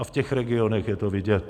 A v těch regionech je to vidět.